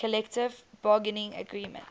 collective bargaining agreement